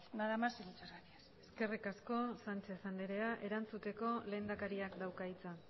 nada más y muchas gracias eskerrik asko sánchez andrea erantzuteko lehendakariak dauka hitza